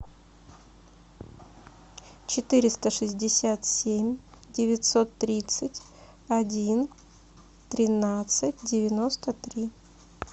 четыреста шестьдесят семь девятьсот тридцать один тринадцать девяносто три